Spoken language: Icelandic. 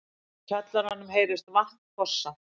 Úr kjallaranum heyrist vatn fossa.